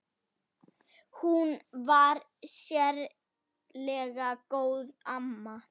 Hún var sérlega góð amma.